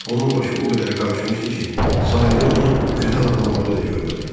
Onun başı o qədər qarışmışdı ki, sahildə onu güdən adamları da görmədi.